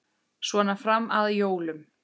Svona fram að jólum.